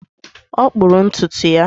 Ọ kpụrụ ntutu ya